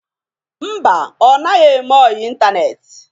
Mba, ọ naghị eme ọyị ịntaneetị.